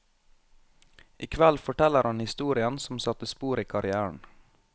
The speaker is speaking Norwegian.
I kveld forteller han historien som satte spor i karrièren.